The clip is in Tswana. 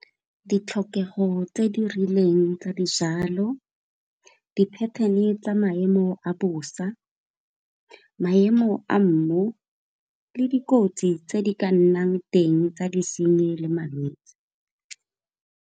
Ditlhokego tse di rileng tsa dijalo di-pattern-e tsa maemo a bosa, maemo a mmu le dikotsi tse di ka nnang teng tsa disenyi le malwetse.